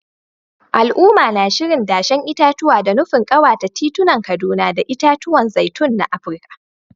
Al’umma na shirin dashen itatuwa, da nufin kawata titunan Kaduna da itatuwan zaitun na Afirka.